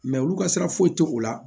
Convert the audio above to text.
olu ka sira foyi tɛ o la